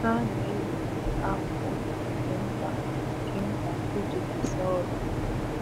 Ha na-ewe akpu nke nta nke nta iji kesaa ọrụ.